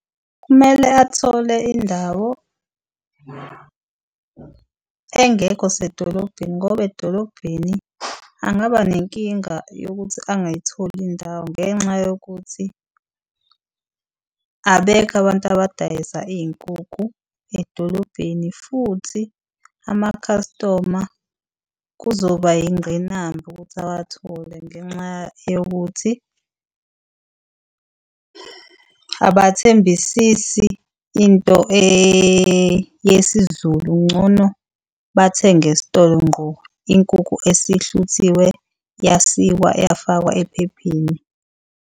Kumele athole indawo engekho sedolobheni ngoba edolobheni angaba nenkinga yokuthi angakayitholi indawo, ngenxa yokuthi abekho abantu abadayisa iy'nkukhu edolobheni, futhi amakhastoma kuzoba yingqinamba ukuthi awathole. Ngenxa yokuthi abathembisisi into yesiZulu. Ngcono bathenge esitolo ngqo inkukhu esihluthiwe, yasikwa yafakwa ephepheni.